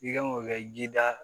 I kan k'o kɛ jida